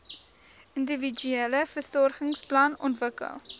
individuele versorgingsplan ontwikkel